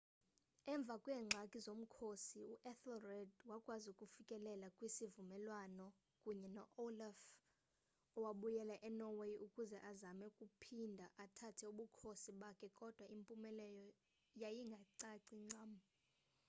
emva kweengxaki zomkhosi u-ethelred wakwazi ukufikelela kwisivumelwano kunye no-olaf owabuyela enorway ukuze azame ukuphinde athathe ubukhosi bakhe kodwa impumelelo yayingacaci ncam